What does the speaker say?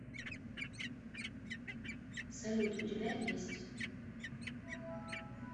салют у тебя есть